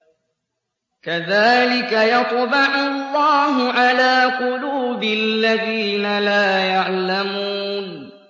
كَذَٰلِكَ يَطْبَعُ اللَّهُ عَلَىٰ قُلُوبِ الَّذِينَ لَا يَعْلَمُونَ